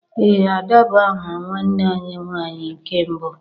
Ee Ada bu aha nwanne anyi nwanyị nke mbụ